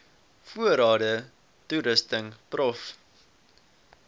voorrade toerusting prof